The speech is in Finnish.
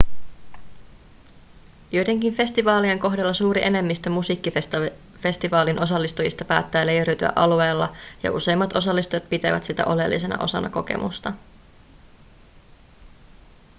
joidenkin festivaalien kohdalla suuri enemmistö musiikkifestivaalin osallistujista päättää leiriytyä alueella ja useimmat osallistujat pitävät sitä oleellisena osana kokemusta